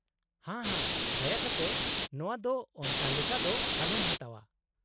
-ᱦᱟ ᱦᱟ , ᱫᱟᱭᱟ ᱠᱟᱛᱮ ᱱᱚᱶᱟ ᱫᱚ ᱚᱱᱠᱟ ᱞᱮᱠᱟ ᱫᱚ ᱟᱞᱚᱢ ᱦᱟᱛᱟᱣᱟ ᱾